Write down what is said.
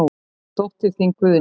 Þín dóttir, Guðný.